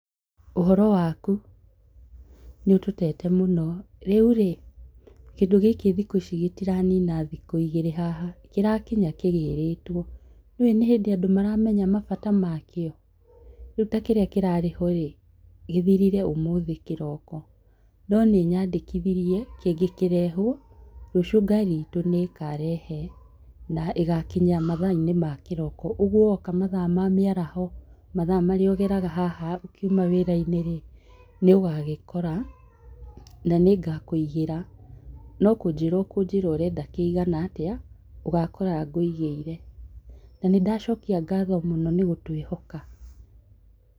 Ũhoro waku? Nĩũtũtete mũno, rĩu rĩ kĩndũ gĩkĩ thikũ ici gĩtiranina thikũ igĩrĩ haha, kĩrakinya kĩgĩrĩtwo, nĩũĩ nĩ hĩndĩ andũ maramenya mabata makĩo, rĩu ta kĩrĩa kĩrarĩho ĩĩ gĩthirire ũmũthĩ kĩroko, no nĩ nyandĩkithirie kĩngĩ kĩrehwo, rũciũ ngari itũ nĩĩkarehe na ĩgakinya mathaa-inĩ makĩroko. Ũguo woka mathaa ma mĩaraho, mathaa marĩa ũgeraga haha ũkiuma wĩra-inĩ rĩ nĩũgagĩkora na nĩngakũigĩra no kũnjĩra ũkũnjĩra ũrenda kĩigana atĩa, ũgakora ngũigĩire, na nĩndacokia ngatho mũno nĩ gũtwĩhoka